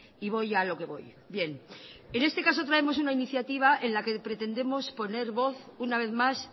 y voy a lo que voy bien en este caso traemos una iniciativa en la que pretendemos poner voz una vez más